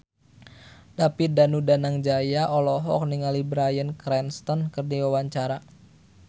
David Danu Danangjaya olohok ningali Bryan Cranston keur diwawancara